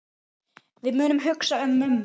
Við munum hugsa um mömmu.